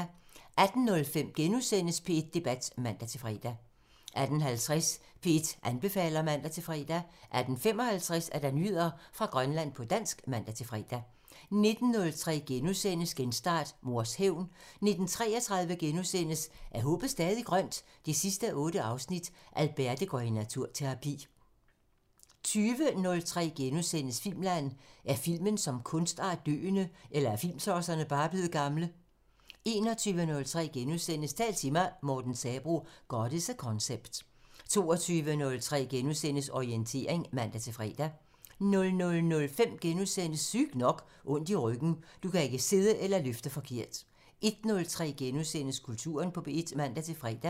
18:05: P1 Debat *(man-fre) 18:50: P1 anbefaler (man-fre) 18:55: Nyheder fra Grønland på dansk (man-fre) 19:03: Genstart: Mors hævn * 19:33: Er håbet stadig grønt? 8:8 – Alberte går i naturterapi * 20:03: Filmland: Er filmen som kunstart døende? Eller er filmtosserne bare blevet gamle? * 21:03: Tal til mig – Morten Sabroe: "God is a concept" * 22:03: Orientering *(man-fre) 00:05: Sygt nok: Ondt i ryggen – Du kan ikke sidde eller løfte forkert * 01:03: Kulturen på P1 *(man-fre)